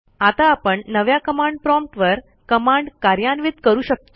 आता आपण नव्या कमांड प्रॉम्प्ट वर कमांड कार्यान्वित करू शकतो